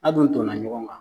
A du tɔn na ɲɔgɔn kan.